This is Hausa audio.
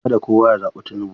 Kada kowa ya zaɓi Tinubu.